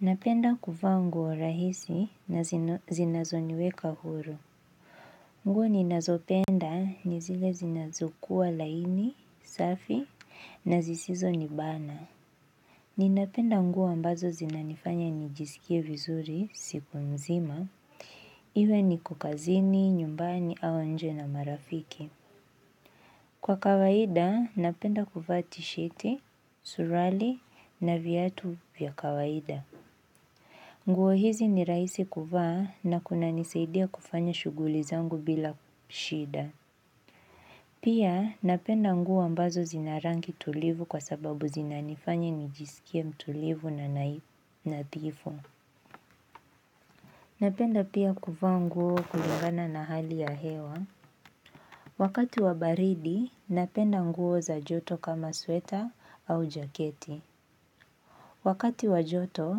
Napenda kuvaa nguo rahisi na zinazoniweka huru. Nguo ninazopenda ni zile zinazokuwa laini, safi na zisizo nibana. Ninapenda nguo ambazo zinanifanya nijisikie vizuri siku nzima. Iwe niko kazini, nyumbani au nje na marafiki. Kwa kawaida, napenda kuvaa tisheti, suruali na viatu vya kawaida. Nguo hizi ni rahisi kuvaa na kunanisaidia kufanya shuguli zangu bila shida. Pia napenda nguo ambazo zina rangi tulivu kwa sababu zina nifanya nijisikie mtulivu na nadhifu. Napenda pia kuvaa nguo kulingana na hali ya hewa. Wakati wa baridi, napenda nguo za joto kama sweta au jaketi. Wakati wa joto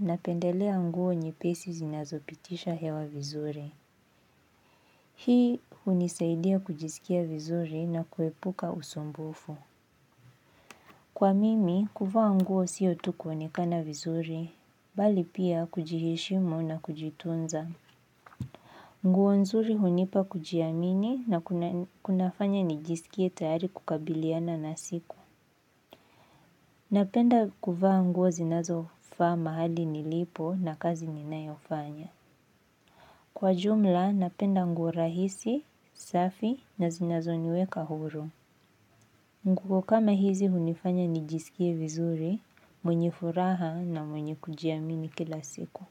napendelea nguo nyepesi zinazopitisha hewa vizuri. Hii hunisaidia kujisikia vizuri na kuepuka usumbufu. Kwa mimi, kuvaa nguo sio tu kuonekana vizuri, bali pia kujiheshimu na kujitunza. Nguo nzuri hunipa kujiamini na kunafanya nijisikie tayari kukabiliana na siku. Napenda kuvaa nguo zinazofaa mahali nilipo na kazi ninayofanya. Kwa jumla, napenda nguo rahisi, safi na zinazo niweka huru. Nguo kama hizi hunifanya nijiskie vizuri mwenye furaha na mwenye kujiamini kila siku.